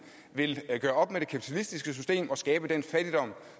vil gøre op med det kapitalistiske system og skabe den fattigdom